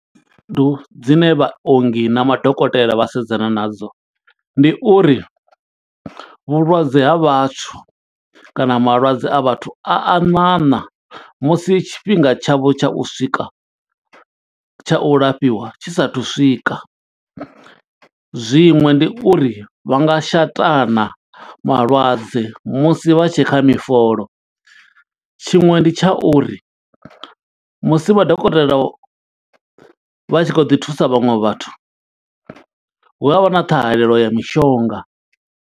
Ndu dzine vhaongi na madokotela vha sedzana nadzo, ndi uri vhulwadze ha vhathu kana malwadze a vhathu a a ṋaṋa, musi tshifhinga tsha vho tsha u swika, tsha u lafhiwa tshi sa thu u swika. Zwiṅwe ndi uri vha nga shatana malwadze, musi vha tshekha mifolo. Tshiṅwe ndi tsha uri, musi madokotela vha tshi khou ḓi thusa vhaṅwe vhathu, hu avha na ṱhahalelo ya mishonga.